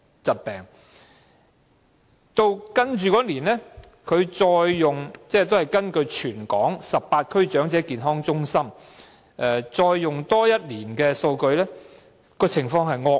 接下來的一年，港大再根據全港18區長者健康中心的數據進行研究，發現情況更惡劣。